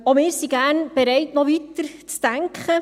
Auch wir sind gerne bereit, noch weiterzudenken.